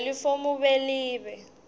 lelifomu b libe